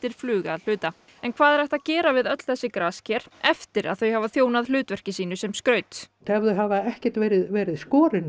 flug að hluta en hvað er hægt að gera við öll þessi grasker eftir að þau hafa þjónað hlutverki sínu sem skraut ef þau hafa ekkert verið verið skorin